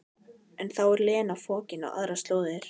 En þá er Lena fokin á aðrar slóðir.